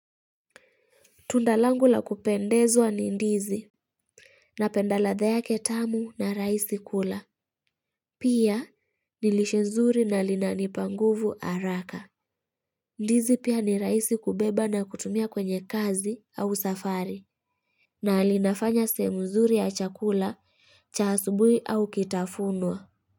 Tunda langu la kupendezwa ni ndizi. Napenda ladha yake tamu na rahisi kula. Pia ni lishe nzuri na linanipa nguvu haraka. Ndizi pia ni rahisi kubeba na kutumia kwenye kazi au safari. Na linafanya sehemu zuri ya chakula cha asubui au kitafunwa.